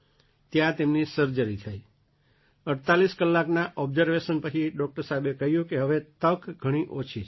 ત્યાં તેમની સર્જરી થઈ 48 કલાકના ઑબ્ઝર્વેશન પછી ડૉક્ટર સાહેબે કહ્યું કે હવે તક ઘણી ઓછી છે